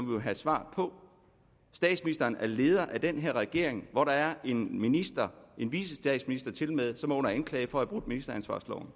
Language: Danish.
vil have svar på statsministeren er leder af den her regering hvor der er en minister en vicestatsminister tilmed som er under anklage for at have brudt ministeransvarsloven